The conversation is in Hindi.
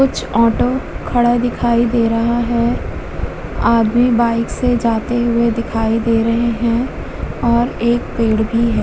कुछ ऑटो खड़ा दिखाई दे रहा है। आदमी बाइक से जाते हुये दिखाई दे रहे हैं और एक पेड़ भी है।